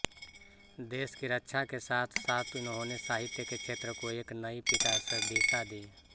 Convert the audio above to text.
देश की रक्षा के साथ साथ इन्होंने साहित्य के क्षेत्र को एक नई विकासदिशा दी